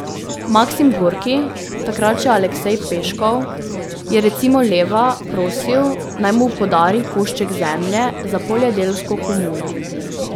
Maksim Gorki, takrat še Aleksej Peškov, je recimo Leva prosil, naj mu podari košček zemlje za poljedelsko komuno.